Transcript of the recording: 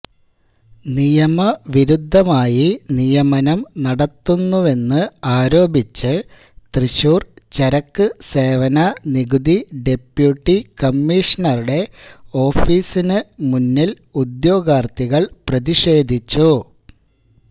നിയമ വിരുദ്ധമായി നിയമനം നടത്തുന്നുവെന്ന് ആരോപിച്ച് തൃശൂർ ചരക്ക് സേവന നികുതി ഡെപ്യൂട്ടി കമ്മീഷണറുടെ ഓഫീസിന് മുന്നില് ഉദ്യോഗാർത്ഥികൾ പ്രതിഷേധിച്ചു